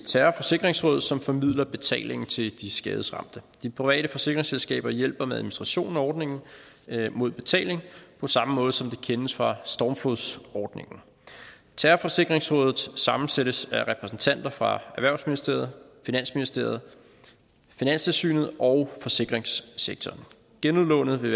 terrorforsikringsråd som formidler betalingen til de skadesramte de private forsikringsselskaber hjælper med administrationen af ordningen mod betaling på samme måde som det kendes fra stormflodsordningen terrorforsikringsrådet sammensættes af repræsentanter fra erhvervsministeriet finansministeriet finanstilsynet og forsikringssektoren genudlånet vil